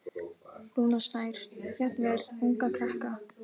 Rúnar Snær: Jafnvel unga krakka?